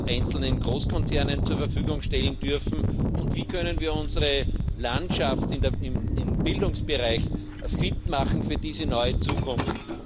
einzelnen Großkonzernen zur Verfügung stehen dürfen, und wie können wir unsere Landschaft im Bildungsbereich fit machen für diese neue Zukunft?